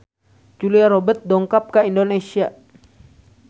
Julia Robert dongkap ka Indonesia